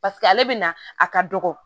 Paseke ale bɛ na a ka dɔgɔ